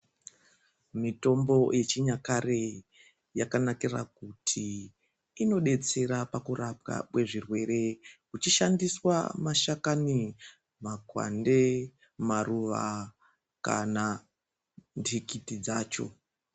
Mitombo yechinyakare yakanakire kuti inodetsera pakurapwa kwezvirwere kuchishandiswa mashakani, makwande, maruva kana ntikiti dzacho.